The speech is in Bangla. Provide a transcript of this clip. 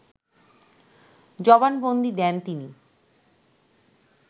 জবানবন্দি দেন তিনি